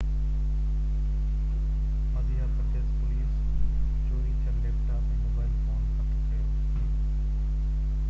Madhya Pradesh police چوري ٿيل laptop ۽ mobile phone هٿ ڪيو